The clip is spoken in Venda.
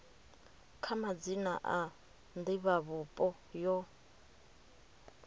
kha madzina a divhavhupo yo